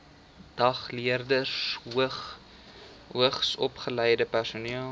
dagleerders hoogsopgeleide personeel